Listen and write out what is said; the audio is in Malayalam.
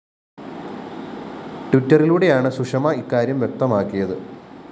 ട്വിറ്ററിലൂടെയാണ് സുഷമ ഇക്കാര്യം വ്യക്തമാക്കിയത്